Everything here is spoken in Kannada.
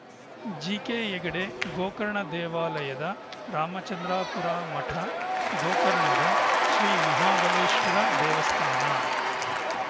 ಜಿಕೆ ಹೆಗಡೆ ಗೋಕರ್ಣ ದೇವಾಲಯದ ರಾಮಚಂದ್ರಾಪುರ ಮಠ ಗೋಕರ್ಣದ ಶ್ರೀ ಮಹಾಬಲೇಶ್ವರ ದೇವಸ್ಥಾನ